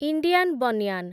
Indian banyan